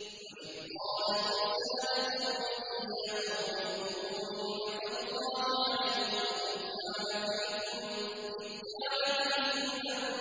وَإِذْ قَالَ مُوسَىٰ لِقَوْمِهِ يَا قَوْمِ اذْكُرُوا نِعْمَةَ اللَّهِ عَلَيْكُمْ إِذْ جَعَلَ فِيكُمْ أَنبِيَاءَ